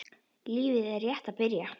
Lífið er rétt að byrja.